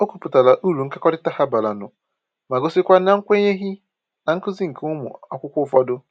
O kwuputara uru nkekọrịta ha bara nụ ma gosikwa na kwenyeghị na nkuzi nke ụmụ akwụkwọ ụfọdụ.